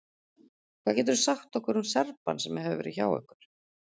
Hvað geturðu sagt okkur um Serbann sem hefur verið hjá ykkur?